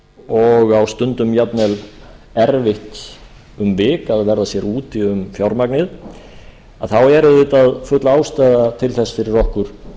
og á stundum jafnvel erfitt um vik að verða sér úti um fjármagnið þá er auðvitað full ástæða til þess fyrir okkur